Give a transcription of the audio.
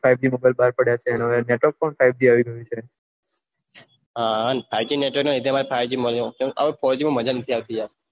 five G mobile બહાર પડિયા છે આમ ફોરજી માં મજા નથી આવતી